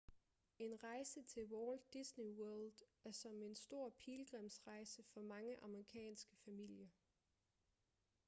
en rejse til walt disney world er som en stor pilgrimsrejse for mange amerikanske familier